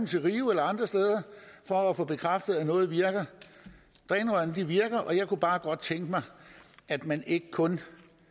til rio eller andre steder for at få bekræftet at noget virker drænrørene virker jeg kunne bare godt tænke mig at man ikke kun